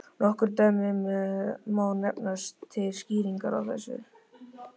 Nokkur dæmi má nefna til skýringar á þessu.